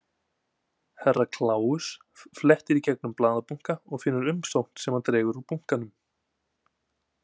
Herra Kláus flettir í gegnum blaðabunka og finnur umsókn sem hann dregur úr bunkanum.